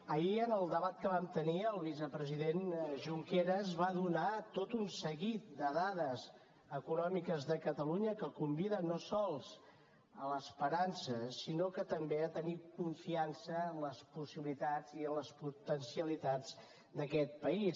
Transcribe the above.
ahir en el debat que vam tenir el vicepresident junqueras va donar tot un seguit de dades econòmiques de catalunya que conviden no sols a l’esperança sinó també a tenir confiança en les possibilitats i en les potencialitats d’aquest país